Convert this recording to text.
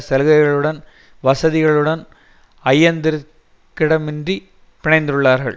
சலுகைகளுடனும் வசதிகளுடனும் ஐயத்திற் கிடமின்றி பிணைந்துள்ளார்கள்